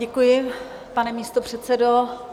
Děkuji, pane místopředsedo.